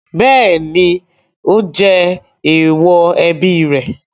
Bẹ́ẹ̀ ni, ó jẹ èèwọ̀ ẹbí rẹ̀.